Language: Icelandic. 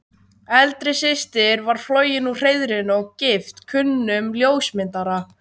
Eldri systir var flogin úr hreiðrinu og gift kunnum ljósmyndara.